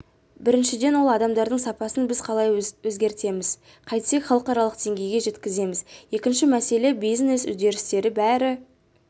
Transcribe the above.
біріншіден ол адамдардың сапасын біз қалай өзгертеміз қайтсек халықаралық деңгейге жеткіземіз екінші мәселе бизнес үдерістері бәрі